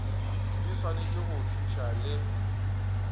di swanetše go thuša le